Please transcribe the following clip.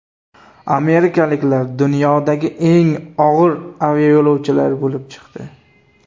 Amerikaliklar dunyodagi eng og‘ir aviayo‘lovchilar bo‘lib chiqdi.